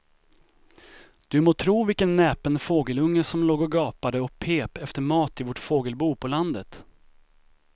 Du må tro vilken näpen fågelunge som låg och gapade och pep efter mat i vårt fågelbo på landet.